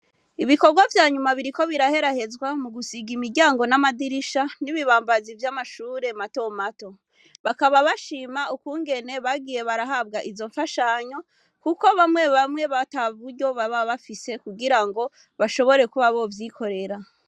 Ibikorwa vyanyuma biriko biraherahezwa mugusiga imiryango n'amadirisha n'ibibambazi vy'amashure matomato. Bakaba bashima ukungene bagiye barahabwa izomfashanyo kuko bamwe bamwe bo ataburyo baba bafise kugirango bashobore kuba bovyikorera.